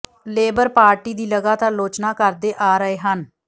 labour party ਦੀ ਲਗਾਤਾਰ ਆਲੋਚਨਾ ਕਰਦੇ ਆ ਰਹੇ ਹਨ